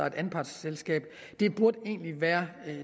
et anpartsselskab det burde egentlig være